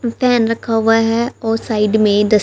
stand रखा हुआ है और साइड में दस--